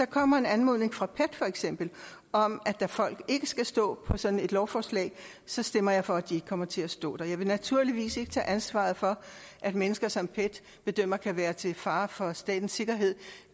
kommer en anmodning fra pet om at folk ikke skal stå på sådan et lovforslag stemmer jeg for at de ikke kommer til at stå der jeg vil naturligvis ikke tage ansvaret for at mennesker som pet bedømmer kan være til fare for statens sikkerhed